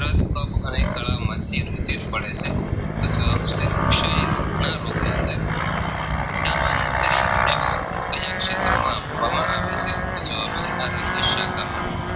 bug અને ગળામાં થી રુધિર પડે છે તો જવાબ છે ક્ષય રોગ ના રોગ ની અંદર Danwatri અહેવાલ ક્યાં ક્ષેત્રમાં આપવામાં આવે છે તો જવાબ છે આરોગ્ય સાખમાં